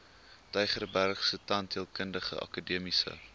tygerbergse tandheelkundige akademiese